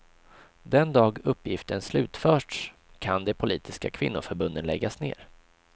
Den dag uppgiften slutförts kan de politiska kvinnoförbunden läggas ner.